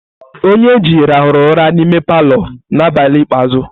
Onyeji rahuru ura n'ime palọ na abali ikpeazu.